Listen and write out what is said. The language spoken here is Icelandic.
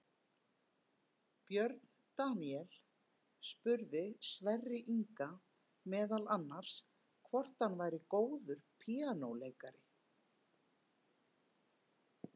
Björn Daníel spurði Sverri Inga meðal annars hvort hann væri góður píanóleikari.